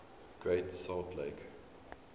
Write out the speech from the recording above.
great salt lake